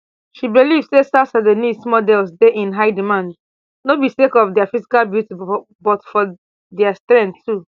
she believe say south sudanese models dey in high demand no be sake of dia physical beauty but for dia strength too